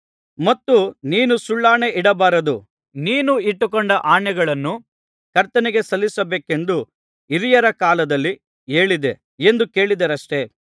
ಮತ್ತು ನೀನು ಸುಳ್ಳಾಣೆಯಿಡಬಾರದು ನೀನು ಇಟ್ಟುಕೊಂಡ ಆಣೆಗಳನ್ನು ಕರ್ತನಿಗೆ ಸಲ್ಲಿಸಬೇಕೆಂದು ಹಿರಿಯರ ಕಾಲದಲ್ಲಿ ಹೇಳಿದೆ ಎಂದು ಕೇಳಿದ್ದೀರಷ್ಟೆ